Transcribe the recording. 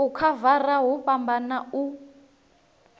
u khavara hu fhambana u